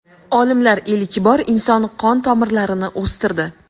Olimlar ilk bor inson qon tomirlarini o‘stirdi.